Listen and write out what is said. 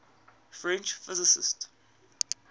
french physicists